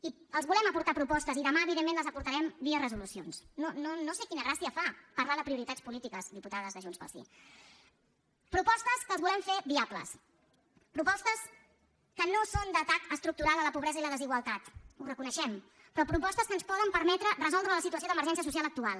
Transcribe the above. i els volem aportar propostes i demà evidentment les aportarem via resolucions no no sé quina gràcia fa parlar de prioritats polítiques diputades de junts pel sí propostes que les volem fer viables propostes que no són d’atac estructural a la pobresa i la desigualtat ho reconeixem però propostes que ens poden permetre resoldre la situació d’emergència social actual